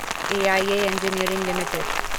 AIA engineering limited